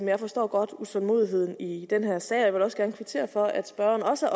jeg forstår godt utålmodigheden i den her sag og jeg vil da også gerne kvittere for at spørgeren også